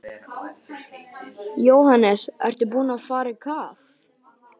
Jóhannes: Ertu búinn að fara á kaf?